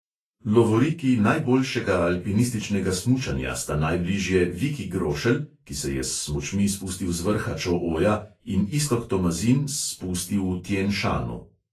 Lovoriki najboljšega alpinističnega smučarja sta najbližje viki grošelj, ki se je s smučmi spustil z vrha čo oja, in iztok tomazin s spusti v tien šanu.